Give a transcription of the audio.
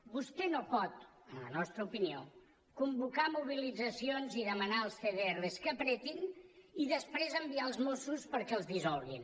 vostè no pot en la nostra opinió convocar mobilitzacions i demanar als cdr que apretin i després enviar els mossos perquè els dissolguin